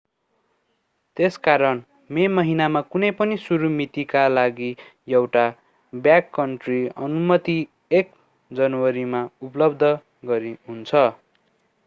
त्यसकारण मे महिनामा कुनै पनि सुरु मितिका लागि एउटा ब्याककन्ट्री अनुमति 1 जनवरीमा उपलब्ध हुन्छ